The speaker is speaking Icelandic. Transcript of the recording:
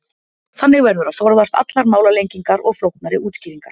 Þannig verður að forðast allar málalengingar og flóknari útskýringar.